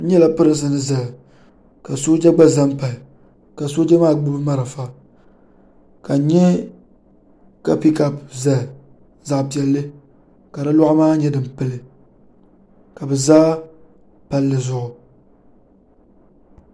n nyɛla pɛrinsi ni zaya ka soja gba zan pahi ka soja maa gbabi mariƒɔ ka n nyɛ ka pɛɛkapu zaya zaɣ' piɛli ka di lugu maa nyɛ dinpiɛli ka be za palizuɣ'